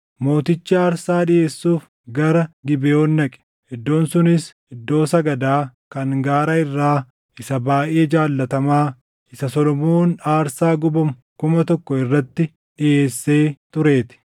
Mootichi aarsaa dhiʼeessuuf gara Gibeʼoon dhaqe; iddoon sunis iddoo sagadaa kan gaara irraa isa baayʼee jaalatamaa isa Solomoon aarsaa gubamu kuma tokko irratti dhiʼeesse tureetii.